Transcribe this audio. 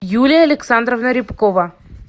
юлия александровна рябкова